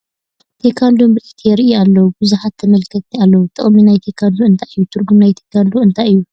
ቴካንዶ ምርኢት የርእዩ ኣለዉ ። ብዙሓት ተመልከቲ ኣለዉ ። ጥቕሚ ናይ ቴካንዶ እንታይ እዩ ? ትርጉም ናይ ቴካንዶ እንታይ እዩ ?